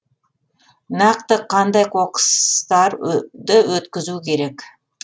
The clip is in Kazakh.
нақты қандай қоқыстар өткізу керек